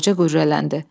qoca qürrələndi.